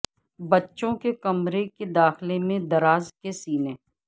بچوں کے کمرہ کے داخلہ میں دراز کے سینے